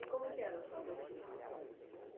E como que era a sua rotina lá?